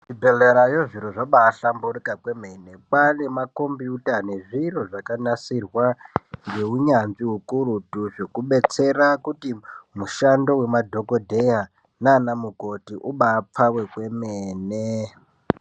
Kuzvibhehlerayo zviro zvabahlamburika kwemene kwane makombiyuta nezviro zvakanasirwa zvakanasirwa ngeunyanzvi ukurutu zvekubetsera kuti mushando wemadhokodheya nana mukoti ubapfave kwemene.